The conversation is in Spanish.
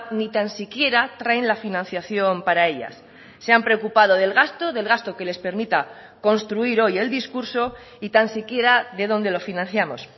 ni tan siquiera traen la financiación para ellas se han preocupado del gasto del gasto que les permita construir hoy el discurso y tan si quiera de donde lo financiamos